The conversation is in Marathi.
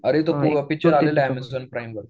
अरे तो पिक्चर आलेला आहे अमेझॉन प्राईमवर